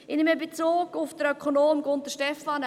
Ich nehme Bezug auf den Ökonomen Gunter Stephan.